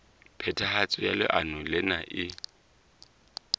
phethahatso ya leano lena e